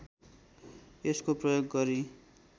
यसको प्रयोग गरी